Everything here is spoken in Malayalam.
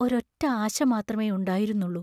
ഒരൊറ ആശ മാത്രമേ ഉണ്ടായിരുന്നുള്ളു.